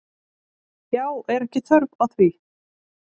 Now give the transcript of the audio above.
Já, er ekki þörf á því?